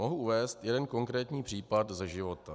Mohu uvést jeden konkrétní příklad ze života.